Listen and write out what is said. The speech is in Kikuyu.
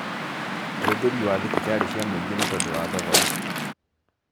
Ũhũthĩri wa thibitarĩ cia mũingĩ nĩ tondũ wa thogora